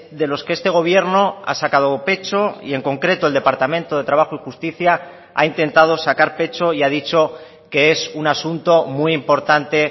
de los que este gobierno ha sacado pecho y en concreto el departamento de trabajo y justicia ha intentado sacar pecho y ha dicho que es un asunto muy importante